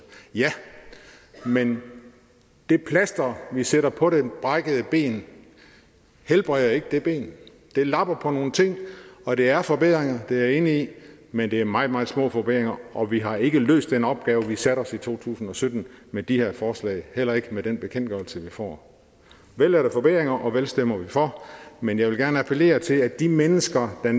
ja men det plaster vi sætter på det brækkede ben helbreder ikke det ben det lapper på nogle ting og det er forbedringer det er jeg enig i men det er meget meget små forbedringer og vi har ikke løst den opgave vi satte os i to tusind og sytten med de her forslag heller ikke med den bekendtgørelse vi får vel er der forbedringer og vel stemmer vi for men jeg vil gerne appellere til at de mennesker der